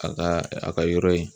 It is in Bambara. A ka a ka yɔrɔ ye